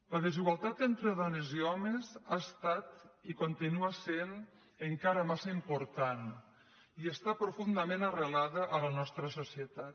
la desigualtat entre dones i homes ha estat i continua sent encara massa important i està profundament ar·relada en la nostra societat